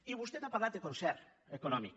i vostè ha parlat de concert econòmic